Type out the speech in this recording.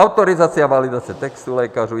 Autorizace a valorizace textů lékařů.